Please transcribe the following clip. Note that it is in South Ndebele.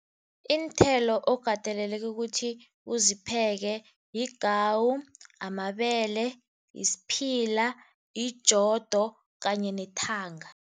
Iinthelo okateleleke ukuthi uzipheke yigawu, amabele, yisphila, yijodo kanye nethanga.